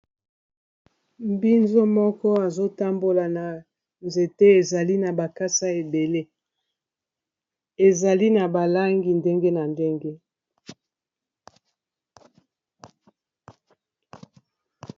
Mbinzo moko azotambola na nzete ezali na bakasa ebele ezali na balangi ndenge na ndenge.